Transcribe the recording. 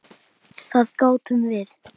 Það gátum við.